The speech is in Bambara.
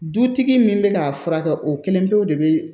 Dutigi min bɛ k'a furakɛ o kelen pew de bɛ